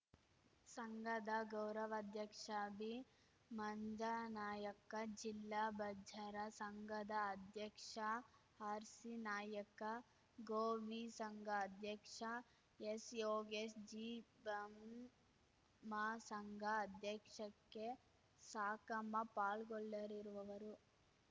ಸಂಘದ ಗೌರವಾಧ್ಯಕ್ಷ ಬಿ ಮಂಜನಾಯಕ್ಕ ಜಿಲ್ಲಾ ಬಜ್ಜಾರ ಸಂಘದ ಅಧ್ಯಕ್ಷ ಆರ್‌ಸಿ ನಾಯಕ್ಕ ಗೋವಿ ಸಂಘ ಅಧ್ಯಕ್ಷ ಎಸ್‌ ಯೋಗೇಶ್‌ ಜಿಬಂಮಸಂಘ ಅಧ್ಯಕ್ಷಕ್ಕೆ ಸಾಕಮ್ಮ ಪಾಲ್ಗೊಳ್ಳ ಲಿರುವವರು